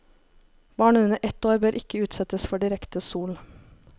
Barn under ett år bør ikke utsettes for direkte sol.